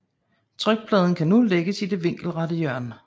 Trykpladen kan nu lægges i det vinkelrette hjørne